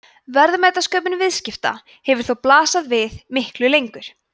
verðmætasköpun viðskipta hefur þó blasað við miklu lengur